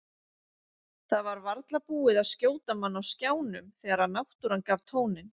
Það var varla búið að skjóta mann á skjánum þegar náttúran gaf tóninn.